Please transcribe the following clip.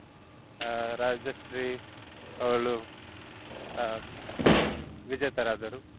ಅಹ್ ರಾಜಶ್ರೀ ಅವ್ಳು ಅಹ್ ವಿಜೇತರಾದರು.